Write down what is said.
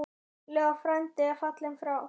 Leó frændi er fallinn frá.